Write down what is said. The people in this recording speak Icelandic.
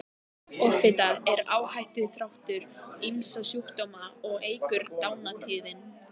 Offita er áhættuþáttur ýmissa sjúkdóma og eykur dánartíðni.